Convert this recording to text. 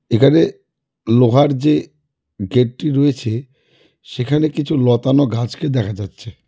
এখানে লোহার যে গেট -টি রয়েছে সেখানে কিছু লতানো ঘাছকে দেখা যাচ্ছে।